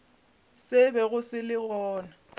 se bego se le gona